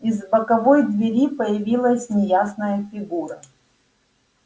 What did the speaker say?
из боковой двери появилась неясная фигура